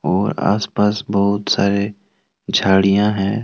और आस पास बहुत सारे झाड़ियां हैं।